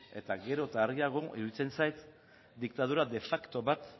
eta gero eta argiago iruditzen zait diktadura de facto bat